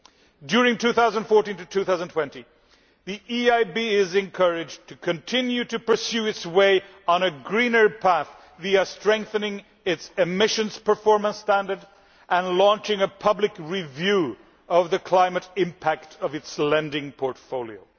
In the period from 2014 to 2020, the EIB is encouraged to continue pursuing its greener path, by strengthening its emissions performance standards and launching a public review of the climate impact of its lending portfolio.